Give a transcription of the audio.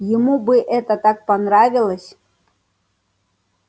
ему бы это так понравилось